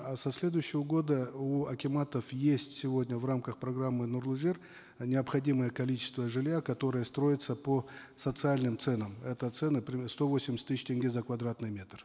а со следующего года у акиматов есть сегодня в рамках программы нурлы жер необходимое количество жилья которое строится по социальным ценам это цены примерно сто восемьдесят тысяч тенге за квадратный метр